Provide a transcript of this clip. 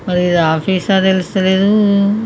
మరీ ఇది ఆఫీస్ ఆ తెలుస్తా లేదు --